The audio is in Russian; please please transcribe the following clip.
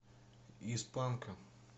из панка